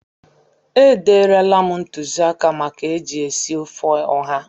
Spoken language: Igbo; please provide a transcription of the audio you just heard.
E derela m ntụzịaka maka eji esi ofe ụha.